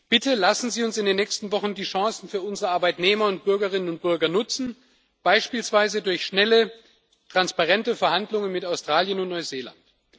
Bitte lassen Sie uns in den nächsten Wochen die Chancen für unsere Arbeitnehmer und Bürgerinnen und Bürger nutzen, beispielsweise durch schnelle transparente Verhandlungen mit Australien und Neuseeland.